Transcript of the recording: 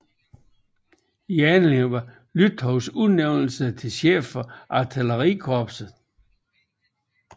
Anledningen var Lützows udnævnelse til chef for Artillerikorpset